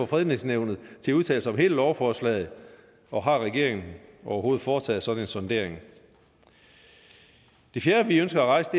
fredningsnævnet til at udtale sig om hele lovforslaget og har regeringen overhovedet foretaget en sådan sondering det fjerde vi ønsker at rejse